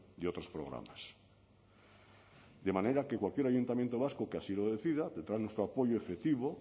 de otros programas de manera que cualquier ayuntamiento vasco que así lo decida tendrá nuestro apoyo efectivo